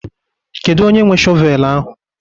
Kedu onye nwe shọvel ahụ?